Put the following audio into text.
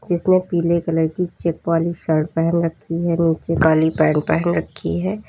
जिसने पीले कलर की चेक वाली शर्ट पहन रखी है नीचे काली पेंट पहन रखी है।